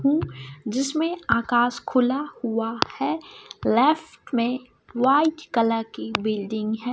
हम्म जिसमें आकाश खुला हुआ है लेफ्ट में व्हाइट कलर की बिल्डिंग है।